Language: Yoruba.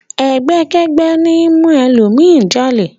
Ẹgbẹ́kẹ́gbẹ́ ní ń mú ẹlòmíràn jalè.